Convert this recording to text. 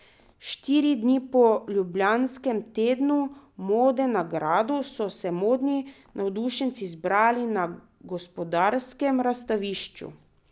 Štiri dni po Ljubljanskem tednu mode na gradu, so se modni navdušenci zbrali na Gospodarskem razstavišču.